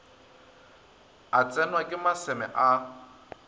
a tsenwa ke maseme a